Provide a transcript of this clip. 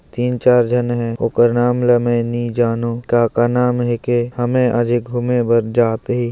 तिन चार झन हे ओकर नाम ल मे नी जानव का-का नाम के कि हमें अभी घूमे बर जात हे।